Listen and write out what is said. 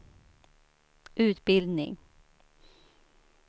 utbildning